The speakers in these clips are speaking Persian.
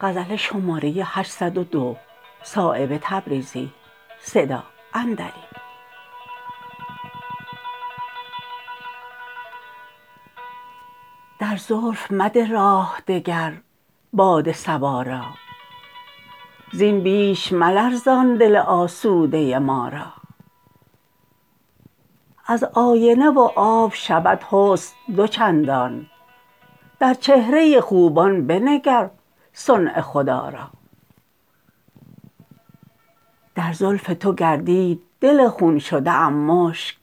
در زلف مده راه دگر باد صبا را زین بیش ملرزان دل آسوده ما را از آینه و آب شود حسن دو چندان در چهره خوبان بنگر صنع خدا را در زلف تو گردید دل خون شده ام مشک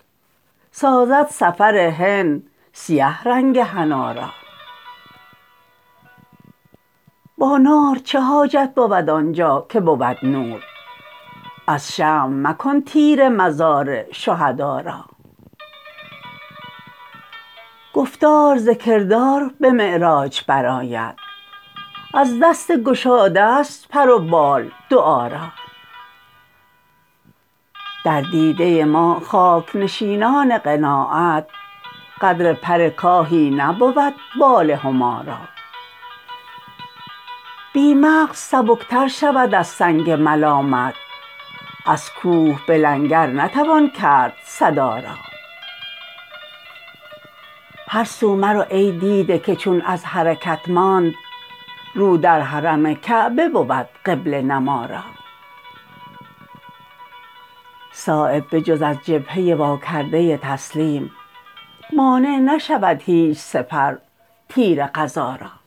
سازد سفر هند سیه رنگ حنا را با نار چه حاجت بود آنجا که بود نور از شمع مکن تیره مزار شهدا را گفتار ز کردار به معراج برآید از دست گشاده است پر و بال دعا را در دیده ما خاک نشینان قناعت قدر پر کاهی نبود بال هما را بی مغز سبکتر شود از سنگ ملامت از کوه بلنگر نتوان کرد صدا را هر سو مرو ای دیده که چون از حرکت ماند رو در حرم کعبه بود قبله نما را صایب به جز از جبهه واکرده تسلیم مانع نشود هیچ سپر تیر قضا را